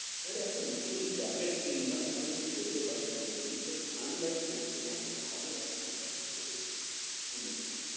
আরে একটা নতুন jacket কিনলাম এখন পরতেই পারছিনা বলুনতো ঠান্ডাই পরছেনা এত ভাল একটা jacket পরেছি কিনেছি।